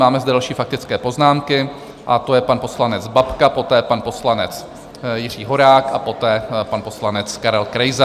Máme zde další faktické poznámky a to je pan poslanec Babka, poté pan poslanec Jiří Horák a poté pan poslanec Karel Krejza.